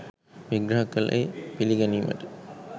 විග්‍රහ කළේ පිළිගැනීමට